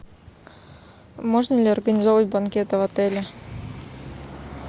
можно ли организовывать банкеты в отеле